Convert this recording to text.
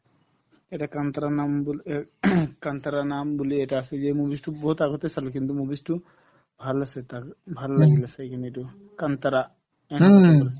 এটা kantara নাম বুলি এই kantara নাম বুলি এটা আছে যে movies তো বহুত আগতে চালো কিন্তু movies তো ভাল আছে তাৰ ভাল লাগিলে চাই কিনে এইটো kantara